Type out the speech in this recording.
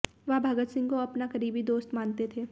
वह भगत सिंह को अपना करीबी दोस्त मानते थे